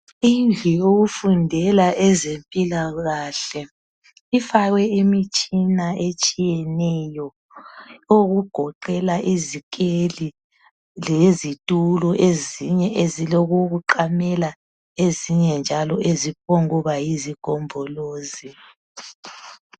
Indlu yokufundela ezempilakahle, ifakwe imitshina etshiyeneyo, okugoqela izikeli, lezitulo ezinye ezilokokuqamela lezinye njalo eziphongkuba yizigombolozi.